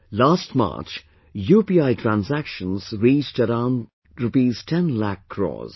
Last March, UPI transactions reached around Rs 10 lakh crores